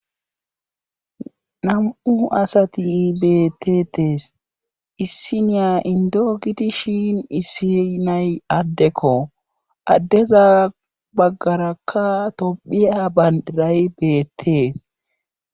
Nam'u asati beettetees issi niya indogiti shin issi nay addekko addeza baggarakka topphia bandiray beettees